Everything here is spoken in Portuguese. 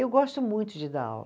Eu gosto muito de dar aula.